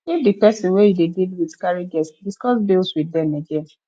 if di person wey you dey with carry guest bills with them again